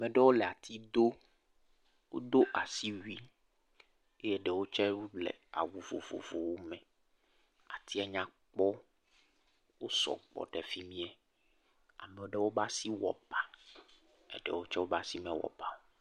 ameɖewo lé ati do. wodo asiwi eye dewo tsɛ wo lé awu vovovowo me, atiɛ nya kpɔ, wo sɔgbɔ ɖe fimiɛ. Ameaɖewo ƒe asi wɔ bá, ɛdewo tsɛ woƒe asi mewɔ bá o